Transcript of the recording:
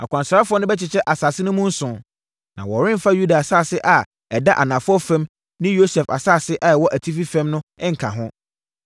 Akwansrafoɔ no bɛkyekyɛ asase no mu nson, na wɔremfa Yuda asase a ɛda anafoɔ fam ne Yosef asase a ɛwɔ atifi fam no nka ho.